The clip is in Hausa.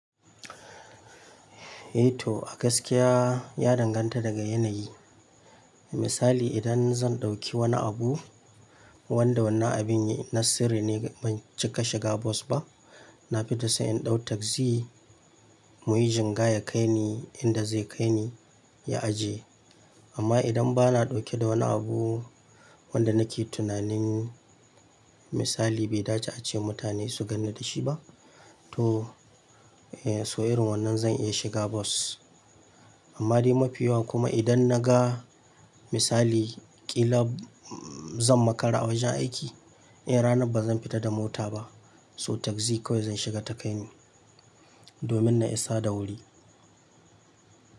Eh to a gaskiya ya danganta daga yanayi. Misali idan zan ɗauki wani abu wanda wannan abin na sirri ne ban cika shiga bus ba. Na fita sai in ɗau taksi muyi jingaya ya kai ni inda zai kai ni ya aje. Amma idan bana ɗauke da wani abu wanda nake tunanin misali bai dace a ce mutane su ganni dashi ba to eh so irin wannan zan iya shiga bus. Amma dai mafi yawan kuma idan naga misali ƙila zan makara a wajen aiki eh ranan bazan fita da mota ba so taksi kawai zan shiga ta kai ni domin na isa da wuri.